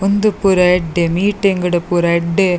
ಉಂದು ಪೂರ ಎಡ್ಡೆ ಮೀಟಿಂಗ್ ಡು ಪೂರ ಎಡ್ಡೆ--